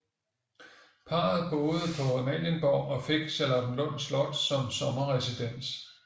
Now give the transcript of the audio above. Parret boede på Amalienborg og fik Charlottenlund Slot som sommerresidens